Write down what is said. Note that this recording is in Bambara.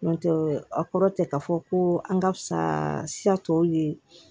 N'o tɛ a kɔrɔ tɛ ka fɔ ko an ka fisa tɔw ye